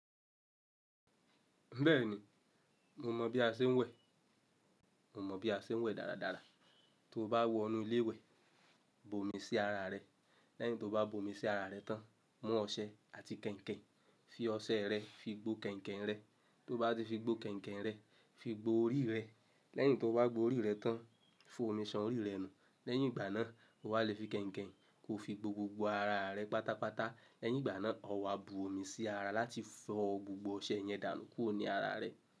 Bẹ́ẹ̀ni, mo mọ̀ bí a ṣe ń wẹ̀. Mo mọ̀ bí a ṣe ń wẹ̀ dáradára. Tó o bá wọ inú ilé ìwẹ̀, bomi sí ara rẹ. Lẹ́yìn tó o bá bomi sí ara rẹ tán, mú ọṣẹ àti kẹ̀ǹkẹ̀. Fi ọṣẹ rẹ fi gbo kẹ̀ǹkẹ̀ rẹ. Tó o bá ti fi gbo kẹ̀ǹkẹ̀ rẹ, fi gbo orí rẹ. Lẹ́yìn tó o bá gbo orí rẹ tán, fọ́ omi ṣan orí rẹ nù. Lẹ́yìn ìgbà náà, o wà lè fi kẹ̀ǹkẹ̀ kó fi gbo gbogbo ara rẹ pátápátá. Lẹ́yìn ìgbà náà, ọ wà bú omi sí ara láti fọ gbogbo ọṣẹ yẹn dànù kúrò ní ara rẹ.